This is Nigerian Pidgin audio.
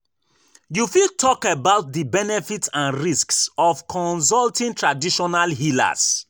You fit talk about di benefits and risks of consulting traditional healers.